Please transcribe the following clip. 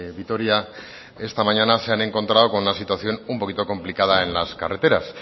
vitoria esta mañana se han encontrado con la situación un poquito complicada en las carreteras